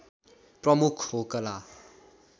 प्रमुख हो कला